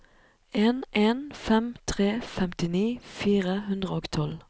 en en fem tre femtini fire hundre og tolv